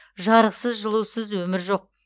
жарықсыз жылусыз өмір жоқ